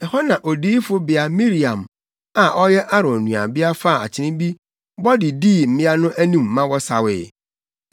Ɛhɔ na Odiyifobea Miriam a ɔyɛ Aaron nuabea faa akyene bi bɔ de dii mmea no anim ma wɔsawee.